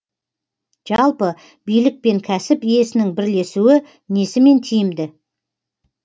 жалпы билік пен кәсіп иесінің бірлесуі несімен тиімді